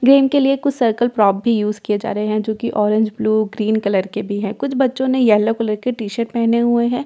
Game के लिए कुछ सर्कल प्रॉप भी यूज किए जा रहे हैं जो की ऑरेंज ब्लू ग्रीन कलर के भी हैं कुछ बच्चों ने येलो कलर के टी_शर्ट पेहने हुए हैं।